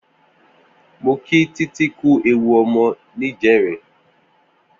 Mó kí Titi kù éwú ọmọ nijèrín